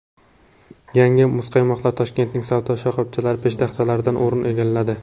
Yangi muzqaymoqlar Toshkentning savdo shoxobchalari peshtaxtalaridan o‘rin egalladi.